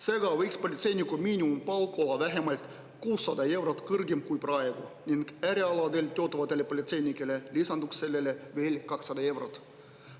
Seega võiks politseiniku miinimumpalk olla vähemalt 600 eurot kõrgem kui praegu ning äärealadel töötavatele politseinikele lisanduks sellele veel 200 eurot.